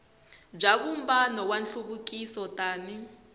bya vumbano wa nhluvukiso tani